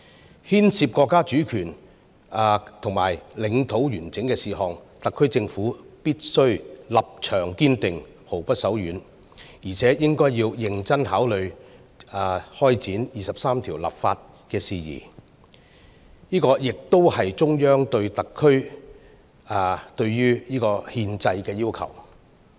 對於牽涉國家主權和領土完整的事宜，特區政府必須立場堅定，毫不手軟，而且應該認真考慮開展《基本法》第二十三條立法的事宜，這也是中央對特區、對憲制的要求。